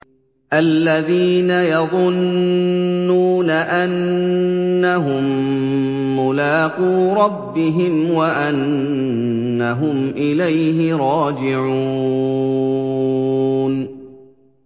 الَّذِينَ يَظُنُّونَ أَنَّهُم مُّلَاقُو رَبِّهِمْ وَأَنَّهُمْ إِلَيْهِ رَاجِعُونَ